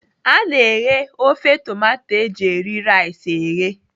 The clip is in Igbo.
A na-eghe ofe tomato eji eri rice eghe.